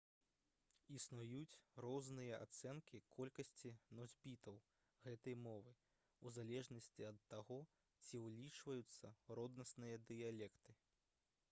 існуюць розныя ацэнкі колькасці носьбітаў гэтай мовы у залежнасці ад таго ці ўлічваюцца роднасныя дыялекты